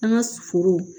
An ka foro